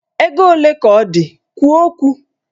Ego ole ka ọ dị? Kwuo okwu!